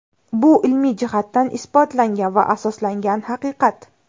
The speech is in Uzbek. Bu ilmiy jihatdan isbotlangan va asoslangan haqiqat.